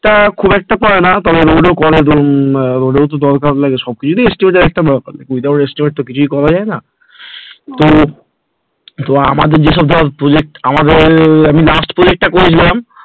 তা খুব একটা পড়ে না তবে ওদের করে না ওদের তো দরকার লাগল, সবকিছুতেই estimate এর একটা ব্যাপার without estimate ত কিছুই করা যায় না, তো তো আমাদের যেসব ধর project আমাদের আমি last project করিনি